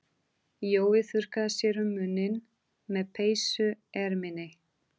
Jói þurrkaði sér um munninn með peysuerminni.